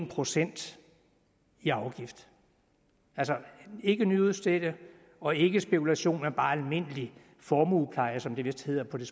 procent i afgift altså ikke nyudstedelse og ikke spekulation men bare almindelig formuepleje som det vist hedder på det